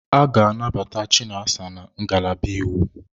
A ga-anabata Chinasa na ngalaba iwu.